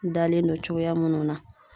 Dalen don cogoya munnu na